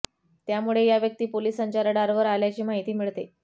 त्यामुळे या व्यक्ती पोलिसांच्या रडावर आल्याची माहिती मिळते